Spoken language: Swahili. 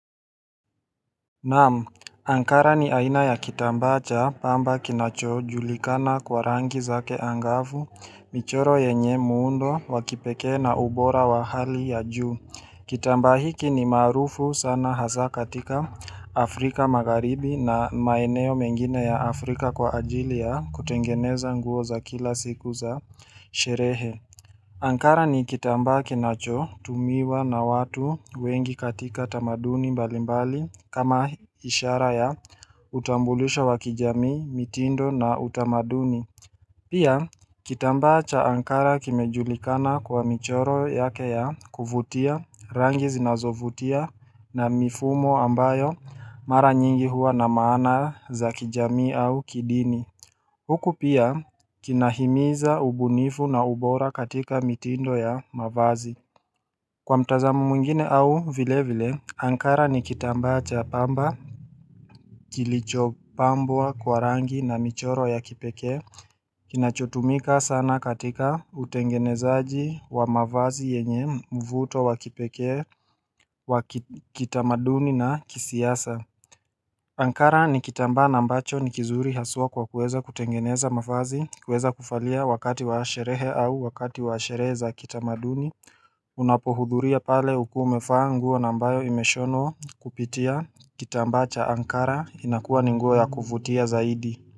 Naam, Ankara ni aina ya kitamba cha pamba kinacho julikana kwa rangi zake angavu, michoro yenye muundo, wa kipekee na ubora wa hali ya juu. Kitamba hiki ni maarufu sana hasa katika Afrika magaribi na maeneo mengine ya Afrika kwa ajili ya kutengeneza nguo za kila siku za sherehe. Ankara ni kitambaa kinachotumiwa na watu wengi katika tamaduni mbalimbali kama ishara ya utambulisho wa kijamii, mitindo na utamaduni. Pia, kitamba cha Ankara kimejulikana kwa michoro yake ya kuvutia rangi zinazovutia na mifumo ambayo mara nyingi huwa na maana za kijamii au kidini. Huku pia kinahimiza ubunifu na ubora katika mitindo ya mavazi Kwa mtazamo mwingine au vile vile Ankara ni kitambaa cha pamba kilicho pambwa kwa rangi na michoro ya kipeke kinachotumika sana katika utengenezaji wa mavazi yenye mvuto wa kipeke wa kitamaduni na kisiasa Ankara ni kitamba na ambacho ni kizuri haswa kwa kueza kutengeneza mafazi, kueza kufalia wakati wa sherehe au wakati wa sherehe za kitamaduni Unapohuduria pale ukuwe umefaa nguo na ambayo imeshonwa kupitia kitambaa cha Ankara inakuwa ni nguo ya kuvutia zaidi.